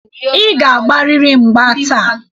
Ị ga-agbarịrị mgba taa.